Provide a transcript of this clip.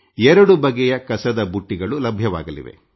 ಎರಡು ಬಗೆಯ ಕಸದ ಬುಟ್ಟಿಗಳು ಲಭ್ಯವಾಗಲಿವೆ